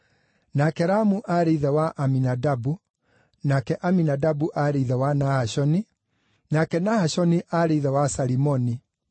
nake Ramu aarĩ ithe wa Aminadabu, nake Aminadabu aarĩ ithe wa Nahashoni, nake Nahashoni aarĩ ithe wa Salimoni,